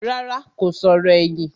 Rárá, kò sọ̀rọ̀ ẹ̀yìn